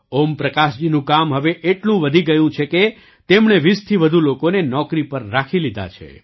ઓમપ્રકાશજીનું કામ હવે એટલું વધી ગયું છે કે તેમણે ૨૦થી વધુ લોકોને નોકરી પર રાખી લીધા છે